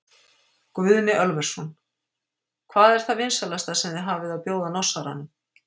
Guðni Ölversson: Hvað er það vinsælasta sem þið hafið að bjóða Norsaranum?